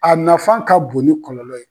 A nafan ka bon ni kɔlɔlɔɔ ye.